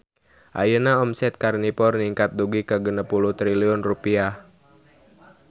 Ayeuna omset Karnivor ningkat dugi ka 60 triliun rupiah